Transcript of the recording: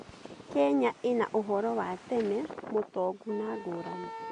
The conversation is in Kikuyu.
Kenya ĩna ũhoro wa tene mũtongu na ngũrani.